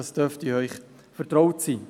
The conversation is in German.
Dies dürfte Ihnen vertraut sein.